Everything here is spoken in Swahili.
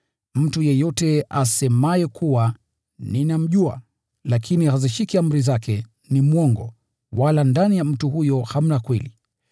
Mtu yeyote asemaye kuwa, “Ninamjua,” lakini hazishiki amri zake, ni mwongo, wala ndani ya mtu huyo hamna kweli.